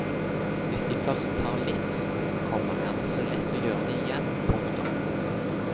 Hvis de først tar litt, komma er det så lett å gjøre det igjen. punktum